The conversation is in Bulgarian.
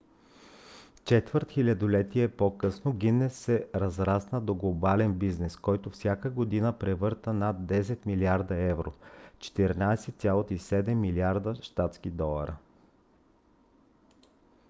четвърт хилядолетие по-късно гинес се разрасна до глобален бизнес който всяка година превърта над 10 милиарда евро 14,7 милиарда щатски долара